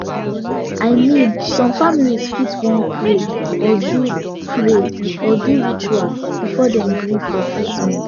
i mean some families fit wan pray or do pray or do ritual before dem gree for treatment